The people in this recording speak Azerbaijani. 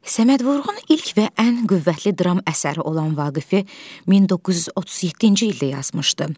Səməd Vurğunun ilk və ən qüvvətli dram əsəri olan Vaqifi 1937-ci ildə yazmışdı.